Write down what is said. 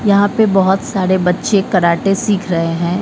यहां पे बहोत सारे बच्चे कराटे सीख रहे हैं।